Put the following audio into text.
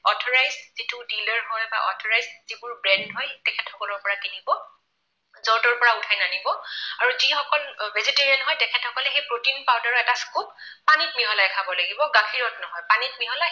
Authorized যিটো dealer হয় বা authorized যিবোৰ brand হয় তেখেতসকলৰ পৰা কিনিব। যৰ তৰ পৰা উঠাই নানিব আৰু যিসকল vegetarian হয় তেখেতসকলে সেই protein powder ৰ এটা scoop পানীত মিহলাই খাব লাগিব, গাখীৰত নহয়। পানীত মিহলাই